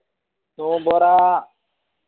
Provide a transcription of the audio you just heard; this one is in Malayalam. നോമ്പൊറാ